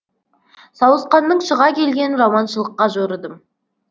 сауысқанның шыға келгенін жаманшылыққа жорыдым